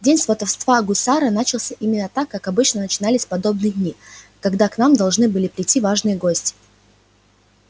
день сватовства гусара начался именно так как обычно начинались подобные дни когда к нам должны были прийти важные гости